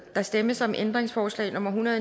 der stemmes om ændringsforslag nummer en hundrede